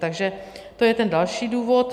Takže to je ten další důvod.